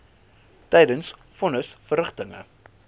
tydens von nisverrigtinge